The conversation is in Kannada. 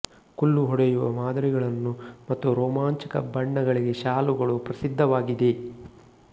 ಕುಲ್ಲು ಹೊಡೆಯುವ ಮಾದರಿಗಳನ್ನು ಮತ್ತು ರೋಮಾಂಚಕ ಬಣ್ಣಗಳಿಗೆ ಶಾಲುಗಳು ಪ್ರಸಿದ್ದವಾಗಿದೆ